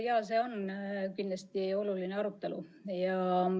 Jaa, see on kindlasti oluline arutelu.